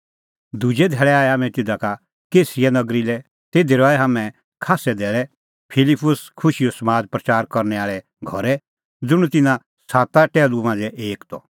दुजै धैल़ै आऐ हाम्हैं तिधा का कैसरिया नगरी लै तिधी रहै हाम्हैं खास्सै धैल़ै फिलिप्पुस खुशीओ समाद प्रच़ार करनै आल़े घरै ज़ुंण तिन्नां साता टैहलू मांझ़ै एक त